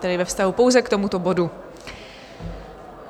Tedy ve vztahu pouze k tomuto bodu.